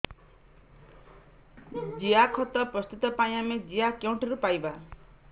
ଜିଆଖତ ପ୍ରସ୍ତୁତ ପାଇଁ ଆମେ ଜିଆ କେଉଁଠାରୁ ପାଈବା